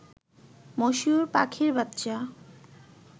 মশিউর পাখির বাচ্চা